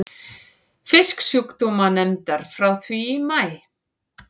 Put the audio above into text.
Fisksjúkdómanefndar frá því í maí.